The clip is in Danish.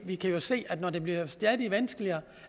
vi kan jo se at når det bliver stadig vanskeligere